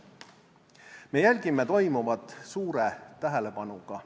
Me jälgime toimuvat suure tähelepanuga.